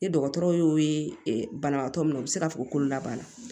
Ni dɔgɔtɔrɔw y'o ye banabaatɔ min na u bɛ se ka fɔ ko labanna